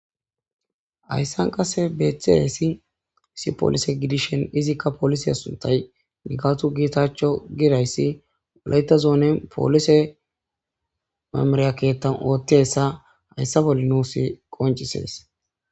Haysan qase betizaysi issi polise gidishin izikka polisa nigatu getachew gizaysi wolayta zonen polise memera ketan othizaysa haysa bolla nunsi qoncises